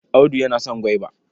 Audu yana son gwaiba.